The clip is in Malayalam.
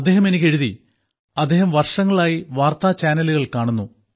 അദ്ദേഹം എനിക്ക് എഴുതി അദ്ദേഹം വർഷങ്ങളായി വാർത്താ ചാനലുകൾ കാണുന്നു